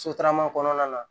Sotarama kɔnɔna na